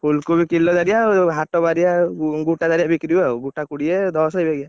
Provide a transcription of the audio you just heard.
ଫୁଲକୋବି କିଲଦାରିଆ ଆଉ ଆଉ ହାଟ ବାରିଆ, ଗୋଟାଦାରିଆ ବିକ୍ରି ହୁଏ ଆଉ ଗୋଟା କୋଡିଏ ଦଶ ଏଇ ବାଗିଆ ଆଉ।